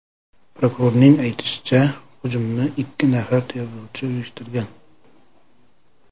Prokurorning aytishicha, hujumni ikki nafar terrorchi uyushtirgan.